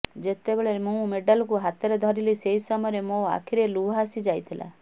ଯେତେବେଳେ ମୁଁ ମେଡାଲ୍କୁ ହାତରେ ଧରିଲି ସେହି ସମୟରେ ମୋ ଆଖିରେ ଲୁହ ଆସି ଯାଇଥିଲା